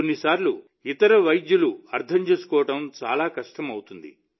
ఇది కొన్నిసార్లు ఇతర వైద్యులు అర్థం చేసుకోవడం చాలా కష్టమవుతుంది